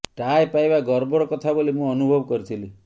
ଟାଏ ପାଇବା ଗର୍ବର କଥା ବୋଲି ମୁଁ ଅନୁଭବ କରିଥିଲି